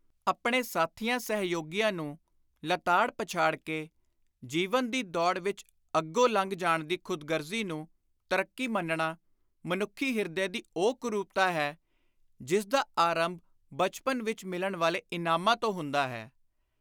ਆਪਣੇ ਸਾਥੀਆਂ-ਸਹਿਯੋਗੀਆਂ ਨੂੰ ਲਤਾੜ-ਪਛਾੜ ਕੇ, ਜੀਵਨ ਦੀ ਦੌੜ ਵਿਚ ਅੱਗੋ ਲੰਘ ਜਾਣ ਦੀ ਖ਼ੁਦਗਰਜ਼ੀ ਨੂੰ ਤਰੱਕੀ ਮੰਨਣਾ ਮਨੁੱਖੀ ਹਿਰਦੇ ਦੀ ਉਹ ਕੁਰੂਪਤਾ ਹੈ ਜਿਸਦਾ ਆਰੰਭ ਬਚਪਨ ਵਿਚ ਮਿਲਣ ਵਾਲੇ ਇਨਾਮਾਂ ਤੋਂ ਹੁੰਦਾ ਹੈ।